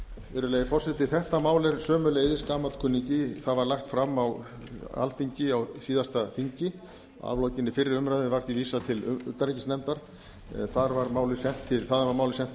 virðulegi forseti þetta mál er sömuleiðis gamall kunningi það var lagt fram á alþingi á síðasta þingi að lokinni fyrri umræðu var því vísað til utanríkisnefndar þaðan var málið sent